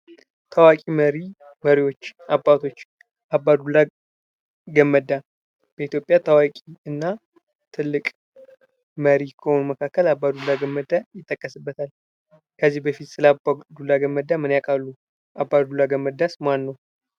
ታዋቂ መሪዎች አባቶች አባዱላ ገመዳ በኢትዮጵያ ታዋቂና ትልቅ መሪ ከሆኑት መካከል አባዱላ ገመዳ ይጥቀሱበታል። ከዚህ በፊት ስለአባዱላ ገመዳ ምን ያቃሉ? አባዱላ ገመዳስ ማን ነው?